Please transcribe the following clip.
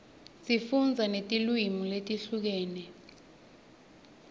sifundza netilwimi letehlukene